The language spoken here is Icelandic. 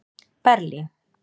Berlín